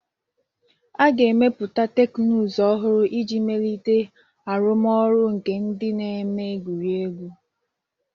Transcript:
A ga-emepụta teknụzụ ọhụrụ iji melite arụmọrụ nke ndị na-eme egwuregwu.